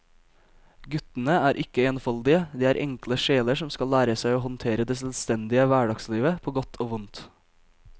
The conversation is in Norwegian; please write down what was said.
Guttene er ikke enfoldige, de er enkle sjeler som skal lære seg å håndtere det selvstendige hverdagslivet på godt og vondt.